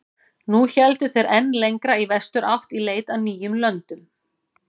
Nú héldu þeir enn lengra í vesturátt í leit að nýjum löndum.